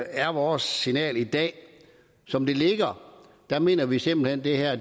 er vores signal i dag at som det ligger mener vi simpelt hen det her